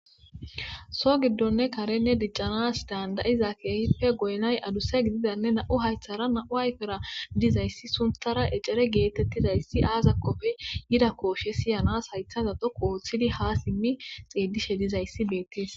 so giddonne karenne diccanas dandayiza keehippe goynay aduse gididanne na7u haythara na7u hayfera dizayssi sunthara ecere geetettidayssi aaza kofey yida kooshe siyanas haytha za dhoqooththidi haa simmi xeedishe dizayssi beettes